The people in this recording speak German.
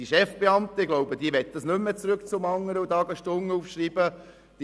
Die Chefbeamten möchten nicht mehr zurück und wieder Stunden aufschreiben müssen.